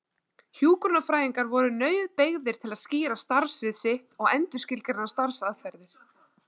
Hjúkrunarfræðingar voru nauðbeygðir til að skýra starfsvið sitt og endurskilgreina starfsaðferðir.